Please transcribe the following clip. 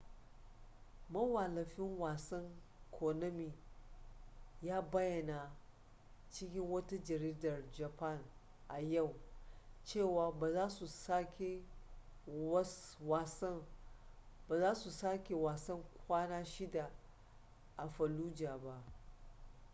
mawallafin wasan konami ya bayyana cikin wata jaridar japan a yau cewa ba za su saki wasan kwana shida a fallujah ba